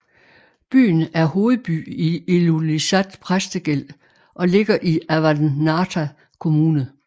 Byen er hovedby i Ilulissat Præstegæld og ligger i Avannaata Kommune